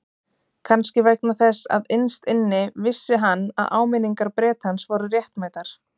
Kannski vegna þess að innst inni vissi hann að áminningar Bretans voru réttmætar.